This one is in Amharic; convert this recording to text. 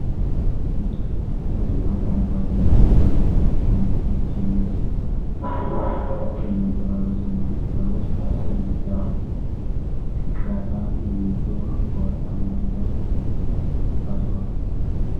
በደማቅ አረንጓዴ ጀርባ ላይ "አሸናፊዎች " የሚል ጽሑፍ ጎልቶ ይነበባል። በሰማያዊ ክበብ ውስጥ "10 ጊ ባ ዳታ" የሚል ጽሑፍ በወርቃማ ሪባን ታስሮአል።